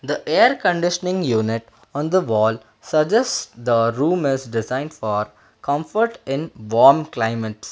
the air conditioning unit on the wall suggest the room is designed for comfort in warm climate.